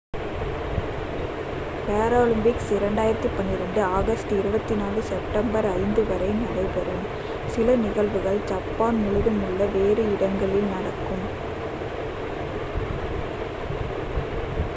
Paralympics 2012 August 24 முதல் September 5 வரை நடைபெறும் சில நிகழ்வுகள் ஜப்பான் முழுதுமுள்ள வேறு இடங்களில் நடக்கும்